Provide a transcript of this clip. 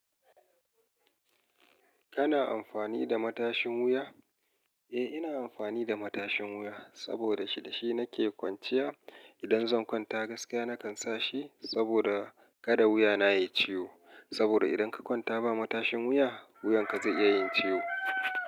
Kana amfani da matashin wuya? Eh, ina amfani da matashin wuya saboda shi da shi nake kwanciya. Idan zan kwanta gaskiya nakan sa shi saboda kada wuyana ya yi ciwo. Saboda idan ka kwanta ba matashin wuya, wuyanka zai iya yin ciwo.